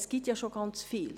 Es gibt ja schon ganz viel.